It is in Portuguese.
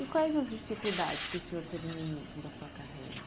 E quais as dificuldades que o senhor teve no início da sua carreira?